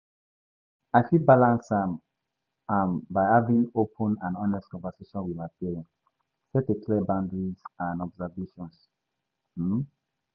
I fit balance am am by having open and honest conversation with my parents, set a clear boundaries and expectations. um